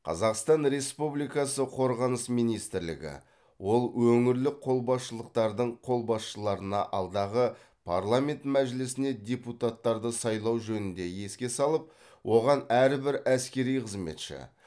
қазақстан республикасы қорғаныс министрлігі ол өңірлік қолбасшылықтардың қолбасшыларына алдағы парламент мәжілісіне депутаттарды сайлау жөнінде еске салып оған әрбір әскери қызметші